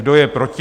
Kdo je proti?